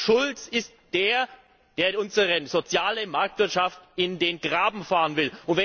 Martin Schulz ist der, der unsere soziale Marktwirtschaft in den Graben fahren will.